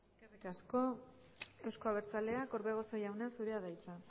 eskerrik asko euzko abertzaleak orbegozo jauna zurea da hitza